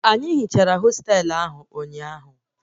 Anyị hichara hostelu ahụ ụnyaahụ